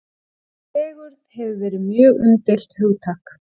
Fegurð hefur verið mjög umdeilt hugtak.